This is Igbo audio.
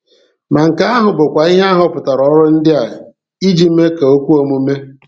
Ma nke ahụ bụkwa ihe a họpụtara ọrụ ndị a iji mee ka o kwe omume.